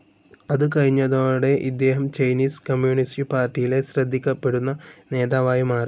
അത് കഴിഞ്ഞതോടെ ഇദ്ദേഹം ചൈനീസ് കമ്മ്യൂണിസ്റ്റ്‌ പാർട്ടിയിലെ ശ്രദ്ധിക്കപ്പെടുന്ന നേതാവായി മാറി.